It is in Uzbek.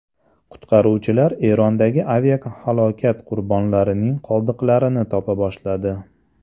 Qutqaruvchilar Erondagi aviahalokat qurbonlarining qoldiqlarini topa boshladi.